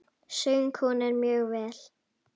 Söng hún mjög vel.